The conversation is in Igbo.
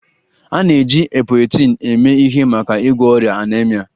A na-eji Epoetin eme ihe maka ịgwọ ọrịa anaemia